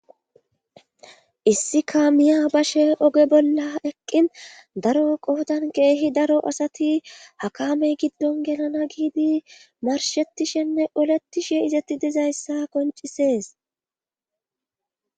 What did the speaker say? Issika miya bashe oge bolla eqqin daro qohodan keehi daro asati hakamey giddon yelana giidi marshettishenne oletishe izetti dizayssa koncisees.